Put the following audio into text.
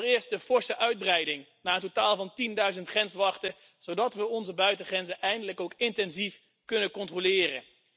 Allereerst de forse uitbreiding naar een totaal van tienduizend grenswachten, zodat we onze buitengrenzen eindelijk ook intensief kunnen controleren.